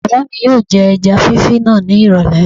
Bàbá mi yóò jẹ ẹja fífí náà ní ìrọ̀lẹ̀